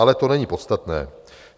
Ale to není podstatné.